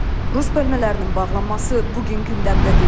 Rus bölmələrinin bağlanması bu gün gündəmdə deyil.